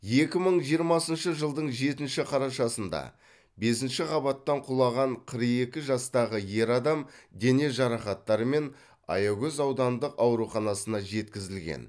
екі мың жиырмасыншы жылдың жетінші қарашасында бесінші қабаттан құлаған қырық екі жастағы ер адам дене жарақаттарымен аягөз аудандық ауруханасына жеткізілген